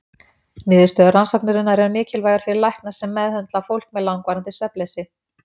Niðurstöður rannsóknarinnar eru mikilvægar fyrir lækna sem meðhöndla fólk með langvarandi svefnleysi.